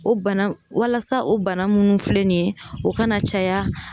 O bana walasa o bana minnu filɛ nin ye o ka na caya